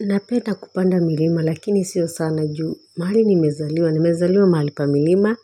Napenda kupanda milima lakini sio sana juu mahali nimezaliwa nimezaliwa mahali pa milima